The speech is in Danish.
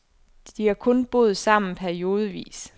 De har kun boet sammen periodevis.